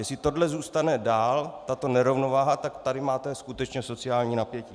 Jestli tohle zůstane dál, tato nerovnováha, tak tady máte skutečně sociální napětí.